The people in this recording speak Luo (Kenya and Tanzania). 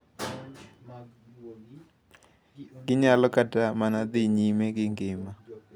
Ginyalo kata mana dhi nyime gi ngima.